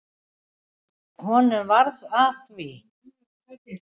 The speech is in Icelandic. Honum varð að því.